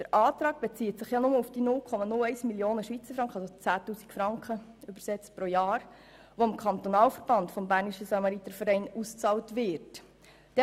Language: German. Der Antrag bezieht sich ja nur auf die 0,01 Mio. Franken sprich auf 10 000 Franken pro Jahr, die dem Kantonalverband der Bernischen Samaritervereine ausbezahlt werden.